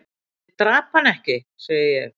"""Ég drap hann ekki, segi ég."""